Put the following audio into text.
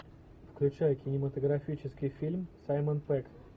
включай кинематографический фильм саймон пегг